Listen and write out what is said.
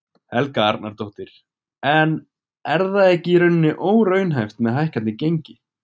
Helga Arnardóttir: En er það ekki í rauninni óraunhæft með hækkandi gengi?